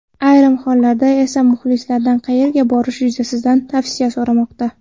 Ayrim hollarda esa muxlislaridan qayerga borish yuzasidan tavsiya so‘ramoqda.